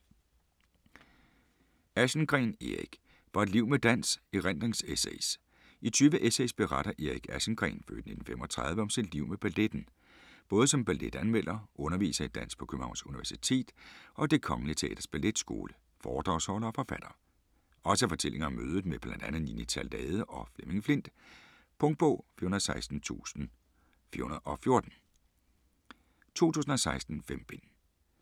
Aschengreen, Erik: Fra et liv med dans: erindringsessays I 20 essays beretter Erik Aschengreen (f. 1935) om sit liv med balletten. Både som balletanmelder, underviser i dans på Københavns Universitet og Det Kongelige Teaters Balletskole, foredragsholder og forfatter. Også fortællinger om mødet med bl.a. Nini Theilade og Flemming Flindt. Punktbog 416414 2016. 5 bind.